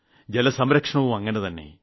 ജലസംരക്ഷണവും അങ്ങിനെതന്നെ